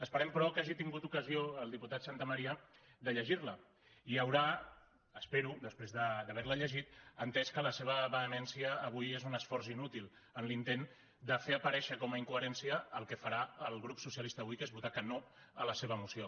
esperem però que hagi tingut ocasió el diputat santamaría de llegir la i haurà espero després d’haver la llegit entès que la seva vehemència avui és un esforç inútil en l’intent de fer aparèixer com a incoherència el que farà el grup socialista avui que és votar que no a la seva moció